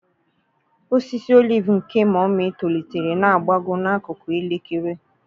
Osisi oliv nke Mummy tolitere na-agbagọ n'akụkụ elekere.